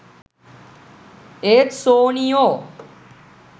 ඒත් සෝනියෝ